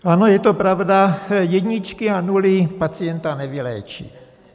Ano, je to pravda, jedničky a nuly pacienta nevyléčí.